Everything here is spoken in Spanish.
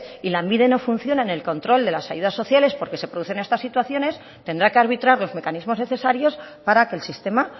y lanbide no funciona en el control de las ayudas sociales porque se producen estas situaciones tendrá que arbitrar los mecanismos necesarios para que el sistema